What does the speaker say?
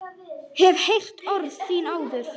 Hef heyrt orð þín áður.